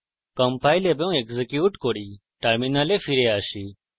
compile এবং execute করি terminal ফিরে আসি